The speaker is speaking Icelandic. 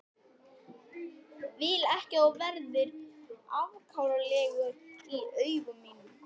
Vil ekki að þú verðir afkáralegur í augum mínum.